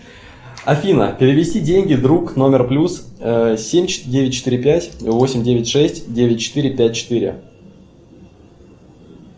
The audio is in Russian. афина перевести деньги друг номер плюс семь девять четыре пять восемь девять шесть девять четыре пять четыре